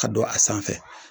ka dɔn a sanfɛ